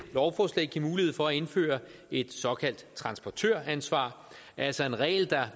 lovforslag give mulighed for at indføre et såkaldt transportøransvar altså en regel der